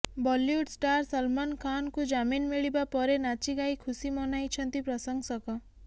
Bollywood star Salman ଖାନ୍ଙ୍କୁ ଜାମିନ୍ ମିଳିବା ପରେ ନାଚି ଗାଇ ଖୁସି ମନାଇଛନ୍ତି ପ୍ରଶଂସକ